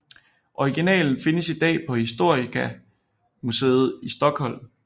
Originalen findes i dag på Historiska museet i Stockholm